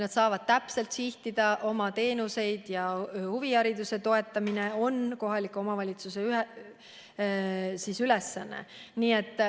Nad saavad täpselt sihtida, millistesse teenustesse, ja huvihariduse toetamine on kohaliku omavalitsuse ülesanne.